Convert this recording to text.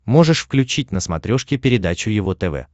можешь включить на смотрешке передачу его тв